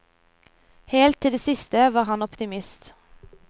Helt til det siste var han optimist.